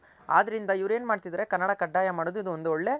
ಆದ್ರಿಂದ ಇವರ್ ಏನು ಮಾಡ್ತಿದಾರೆ ಅಂದ್ರೆ ಕನ್ನಡ ಕಡ್ಡಾಯ ಮಾಡೋದು ಇದೊಂದು ಒಳ್ಳೆ